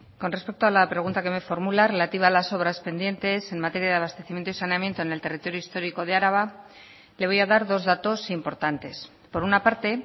con respecto a la pregunta que me formula relativa a las obras pendientes en materia de abastecimiento y saneamiento en el territorio histórico de araba le voy a dar dos datos importantes por una parte